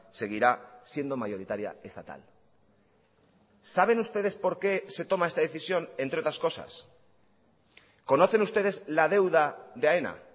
seguirá siendo mayoritaria estatal saben ustedes por qué se toma esta decisión entre otras cosas conocen ustedes la deuda de aena